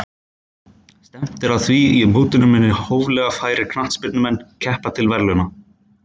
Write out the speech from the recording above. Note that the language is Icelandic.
Stefnt er að því að í mótinu muni hóflega færir knattspyrnumenn keppa til verðlauna.